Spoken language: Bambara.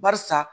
Barisa